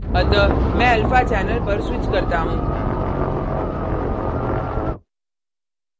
अतः मैं alpha channel पर switch करता हूँ